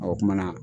o kumana